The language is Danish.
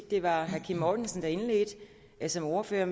det var herre kim mortensen der som ordfører